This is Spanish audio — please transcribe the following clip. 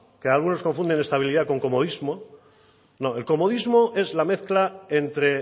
que algunos confunden estabilidad con comodismo no el comodismo es la mezcla entre